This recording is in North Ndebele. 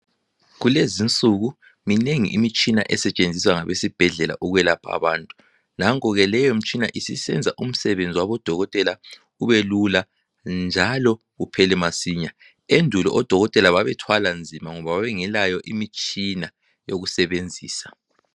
Kulezinsuku minengi imitshina esetshenziswa ngabesibhedlela ukwelapha abantu nanku ke leyomitshina isisenza umsebenzi wabodokotela ubelula njalo uphele masinya endulo odokotela babethwala nzima ngoba bengelayo imitshina yokusebenzisa.